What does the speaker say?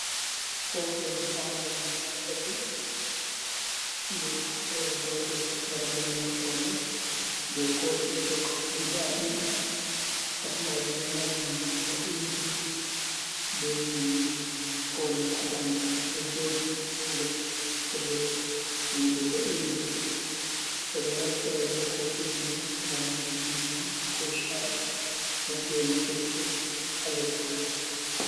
Kofi hon pamaron guda tati ɓe pamarel gotel margel maɓɓode ɓe kofi jog guda ɗiɗi pat majum ɗo mari nonde boɗejum be nonde kolel ha bandu mai do jodi ha nder tire nonde bodejum ɓeɗo naftira be kofije mai ngam yaruki ndiyam ko sha’i don gene kecce ha les mai.